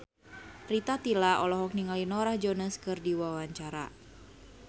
Rita Tila olohok ningali Norah Jones keur diwawancara